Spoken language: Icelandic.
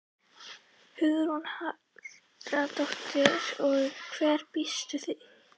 Hugrún Halldórsdóttir: Og hverju býstu við?